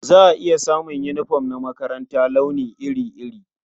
Za a iya samun yunifom na makaranta launi iri-iri.